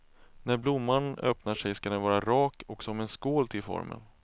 När blomman öppnar sig ska den vara rak och som en skål till formen.